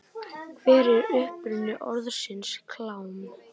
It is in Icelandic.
Hver er uppruni orðsins klám?